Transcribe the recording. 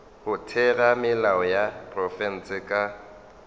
go theramelao ya profense ka